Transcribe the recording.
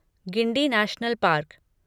Guindy national park